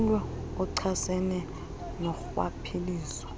umlo ochasene norhwaphilizo